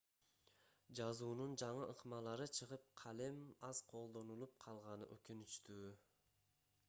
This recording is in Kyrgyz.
жазуунун жаңы ыкмалары чыгып калем аз колдонулуп калганы өкүнүчтүү